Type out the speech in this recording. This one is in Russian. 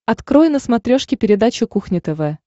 открой на смотрешке передачу кухня тв